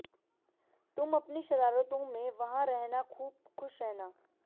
तुम अपनी शरारतों में वहां रहना खूब खुश रहना